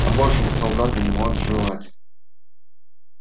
а большего солдат и не может желать